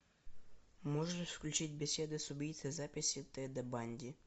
можешь включить беседы с убийцей записи теда банди